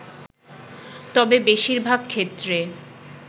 তবে বেশির ভাগ ক্ষেত্রে